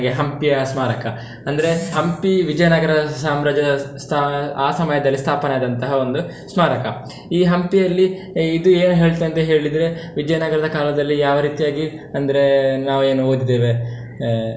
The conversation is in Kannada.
Hampi ಯ ಸ್ಮಾರಕ ಅಂದ್ರೆ Hampi Vijayanagar ದ ಸಾಮ್ರಾಜ್ಯ ಸ್ಥಾ~ ಆ ಸಮಯದಲ್ಲಿ ಸ್ಥಾಪನೆ ಆದಂತಹ ಒಂದು ಸ್ಮಾರಕ. ಈ Hampi ಯಲ್ಲಿ ಇದು ಏನ್ ಹೇಳ್ತೆ ಅಂತ ಹೇಳಿದ್ರೆ Vijayanagar ದ ಕಾಲದಲ್ಲಿ ಯಾವ ರೀತಿಯಾಗಿ, ಅಂದ್ರೆ ನಾವು ಏನು ಓದಿದೇವೆ ಆಹ್.